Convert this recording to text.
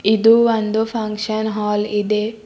ಇದು ಒಂದು function hall ಇದೆ.